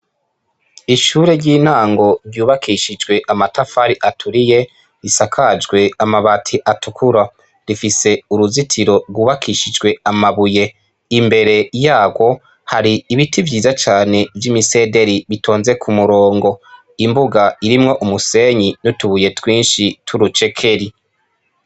Ishure ry' intango ryubakishijwe amatafari aturiye risakajwe amabati atukura rifise uruzitiro gwubakishijwe amabuye imbere yagwo hari ibiti vyiza cane vy' imisederi bitonze ku murongo imbuga irimwo umusenyi n' utubuye twinshi tw' urucekeri.